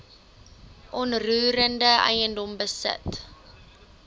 onroerende eiendom besit